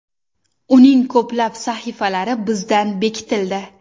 Uning ko‘plab sahifalari bizdan bekitildi.